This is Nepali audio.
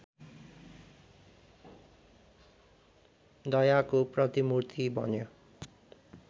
दयाको प्रतिमूर्ति बन्यो